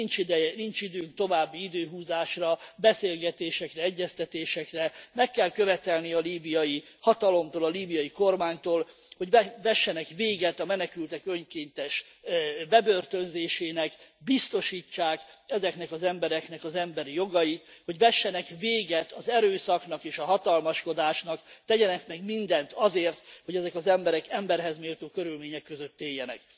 Nincs időnk további időhúzásra, beszélgetésekre, egyeztetésekre, meg kell követelni a líbiai hatalomtól, a líbiai kormánytól, hogy vessenek véget a menekültek önkényes bebörtönzésének, biztosítsák ezeknek az embereknek az emberi jogait, hogy vessenek véget az erőszaknak és a hatalmaskodásnak, tegyenek meg mindent azért, hogy ezek az emberek emberhez méltó körülmények között éljenek.